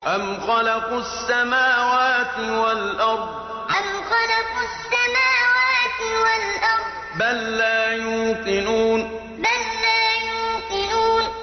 أَمْ خَلَقُوا السَّمَاوَاتِ وَالْأَرْضَ ۚ بَل لَّا يُوقِنُونَ أَمْ خَلَقُوا السَّمَاوَاتِ وَالْأَرْضَ ۚ بَل لَّا يُوقِنُونَ